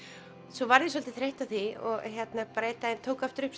svo varð ég svolítið þreytt á því og tók aftur upp